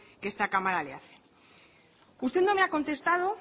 que esta cámara le hace usted no me ha contestado